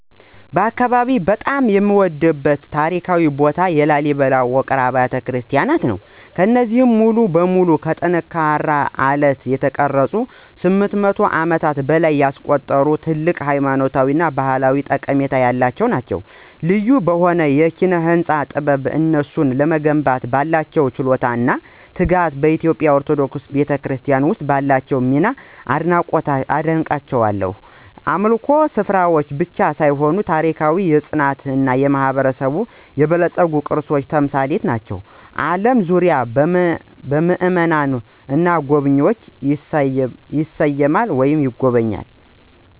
በአካባቢዬ በጣም የምወደድበት ታሪካዊ ቦታ የላሊበላ ውቅር አብያተ ክርስቲያናት ነው። እነዚህ ሙሉ በሙሉ ከጠንካራ አለት የተቀረጹት ከ800 ዓመታት በላይ ያስቆጠሩ እና ትልቅ ሃይማኖታዊ እና ባህላዊ ጠቀሜታ ያላቸው ናቸው። ልዩ በሆነው የኪነ-ህንፃ ጥበብ፣ እነሱን ለመገንባት ባለው ችሎታ እና ትጋት፣ በኢትዮጵያ ኦርቶዶክስ ክርስትና ውስጥ ባላቸው ሚና አደንቃቸዋለሁ። የአምልኮ ስፍራዎች ብቻ ሳይሆኑ የታሪክ፣ የፅናት እና የማህበረሰባችን የበለፀጉ ቅርሶች ተምሳሌት ናቸው፣ ከአለም ዙሪያ ምእመናንን እና ጎብኝዎችን ይስባሉ።